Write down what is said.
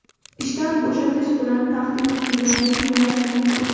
ishdan bo‘shatish bilan tahdid qilganini tinglash mumkin.